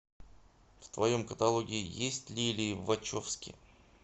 в твоем каталоге есть лилли вачовски